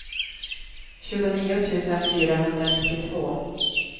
tjugonio tusen fyrahundranittiotvå